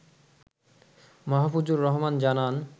মাহফুজুর রহমান জানান